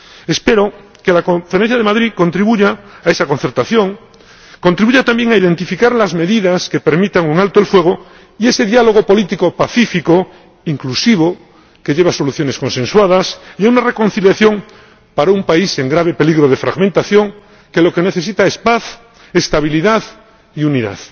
Espero que la Conferencia de Madrid contribuya a esa concertación y a identificar las medidas que permitan un alto el fuego, así como a ese diálogo político pacífico, inclusivo, que lleva a soluciones consensuadas y a una reconciliación, para un país en grave peligro de fragmentación que lo que necesita es paz, estabilidad y unidad.